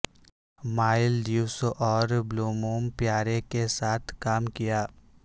مائل ڈیوس اور بلوموم پیارے کے ساتھ کام کیا